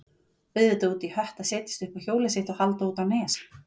Auðvitað út í hött að setjast upp á hjólið sitt og halda út á Nes.